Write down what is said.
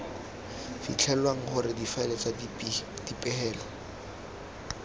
fitlhelwang gore difaele tsa dipegelo